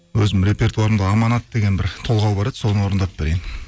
өзімнің репертуарымда аманат деген бір толғау бар еді соны орындап берейін